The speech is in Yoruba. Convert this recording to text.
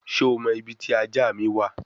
Şho mo ibi ti aja mi wa?